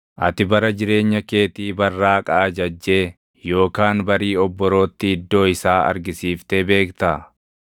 “Ati bara jireenya keetii barraaqa ajajjee yookaan barii obborootti iddoo isaa argisiiftee beektaa?